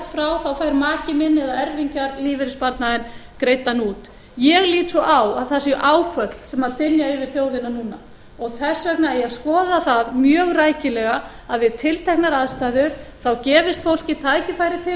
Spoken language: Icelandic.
frá fær maki minn eða erfingjar lífeyrissparnaðinn greiddan út ég lít svo á að það séu áföll sem dynja yfir þjóðina núna og þess vegna eigi að skoða það mjög rækilega að við tilteknar aðstæður þá gefist fólki tækifæri til